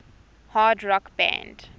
hard rock band